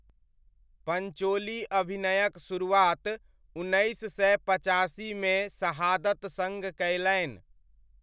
पञ्चोली अभिनयक शुरुआत उन्नैस सय पचासीमे 'शहादत' सङ्ग कयलनि।